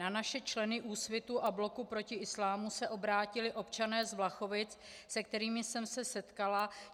Na naše členy Úsvitu a Bloku proti islámu se obrátili občané z Vlachovic, se kterými jsem se setkala.